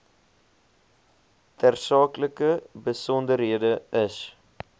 tersaaklike besonderhede is